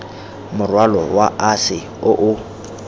morwalo wa ase o o